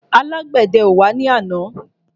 Alágbèdẹ ò wá ní àná.